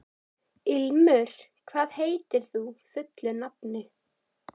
Ilmur, hvað heitir þú fullu nafni?